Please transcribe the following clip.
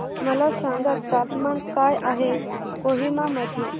मला सांगा तापमान काय आहे कोहिमा मध्ये